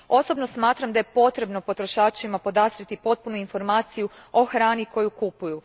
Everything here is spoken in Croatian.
Osobno smatram da je potrebno potrošačima podastrijeti potpunu informaciju o hrani koju kupuju.